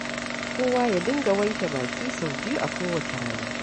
Kowa ya dinga wanke baki sau biyu a kowace rana.